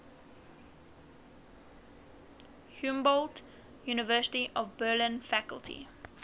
humboldt university of berlin faculty